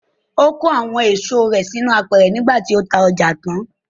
Ó kó àwọn èso rẹ̀ sínú apẹ̀rẹ̀ nígbà tí ta ọjà tán.